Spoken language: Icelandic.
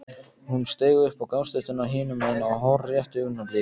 Hún steig upp á gangstéttina hinum megin á hárréttu augnabliki.